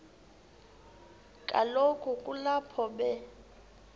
kaloku kulapho be